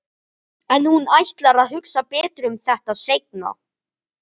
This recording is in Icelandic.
En hún ætlar að hugsa betur um þetta seinna.